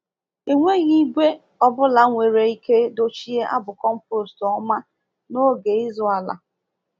Enweghị igwe ọ bụla nwere ike dochie abụ compost ọma n’oge ịzụ ala.